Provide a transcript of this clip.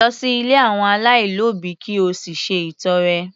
Lọ sí ilé àwọn aláìlóbìí ki o sì ṣe ìtọre